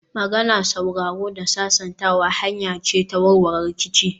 Magana, sauraro da sasantawa hanya ce ta warware rikici